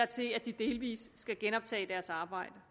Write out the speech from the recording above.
til at de delvis skal genoptage deres arbejde